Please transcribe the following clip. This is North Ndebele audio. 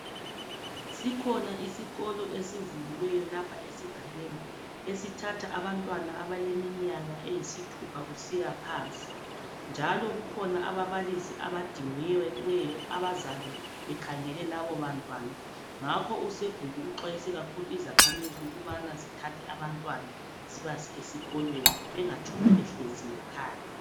Sikhona isikolo esivuliweyo lapha esigabeni esithatha abantwana abaleminyaka eyisithupha kusiyaphansi. Njalo kukhona ababalisi abadingiweyo abazabe bekhangele labo bantwana. Ngakho usebhuku uxwayise kakhulu izakhamizi ukubana zithathe abantwana zibase esikolweni bengatshoni behlezi ngekhaya.